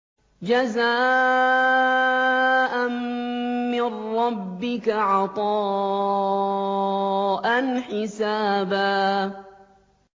جَزَاءً مِّن رَّبِّكَ عَطَاءً حِسَابًا